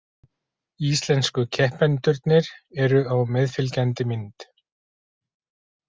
Íslensku keppendurnir eru á meðfylgjandi mynd